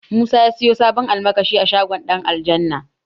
Musa ya siyo sabon almakashi a shagon Ɗanaljanna